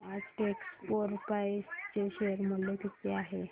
आज टेक्स्मोपाइप्स चे शेअर मूल्य किती आहे